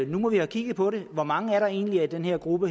nu må have kigget på det hvor mange er der egentlig i den her gruppe